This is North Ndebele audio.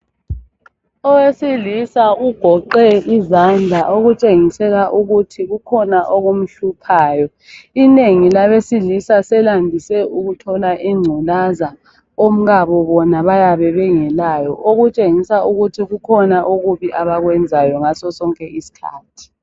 Owesilisa ugoqe izandla okutshengisela ukuthi kukhona okumhluphayo. Inengi labesilisa selandise ukuthola ingculaza omkabo bona bayabe bengelayo okutshengisa ukuthi kukhona okubi abakwenzayo ngaso sonke iskhathi.